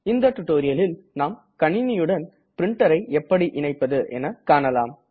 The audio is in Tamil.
இந்த டுடோரியலில் நாம் கணினியுடன் printerஐ எப்படி இணைப்பது என காணலாம்